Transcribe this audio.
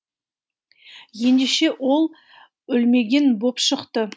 ендеше ол өлмеген боп шықты